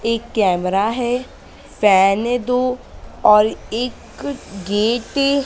एक कैमरा है फैन है दो और एक गेटे --